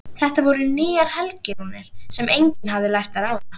Þetta voru nýjar helgirúnir sem enginn hafði lært að ráða.